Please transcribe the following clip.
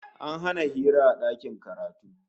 An hana hira a dakin karatu